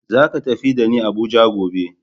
Zaka tafi da ni Abuja gobe.